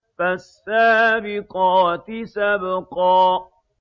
فَالسَّابِقَاتِ سَبْقًا